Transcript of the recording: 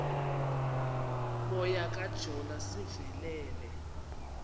moya kajona sivelele